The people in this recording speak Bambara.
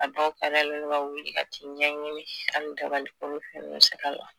A dɔw len don ka wuli ka t'i ɲɛɲini hali dabali